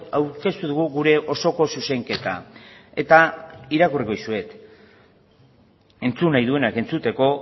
aurkeztu dugu gure osoko zuzenketa irakurriko dizuet entzun nahi duenak entzuteko